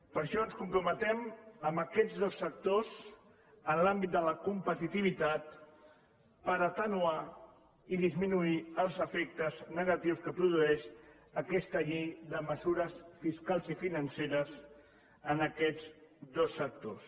per això ens comprometem amb aquests dos sectors en l’àmbit de la competitivitat per atenuar i disminuir els efectes negatius que produeix aquesta llei de mesures fiscals i financeres en aquests dos sectors